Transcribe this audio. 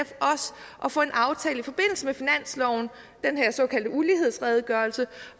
at få en aftale i forbindelse med finansloven den her såkaldte ulighedsredegørelse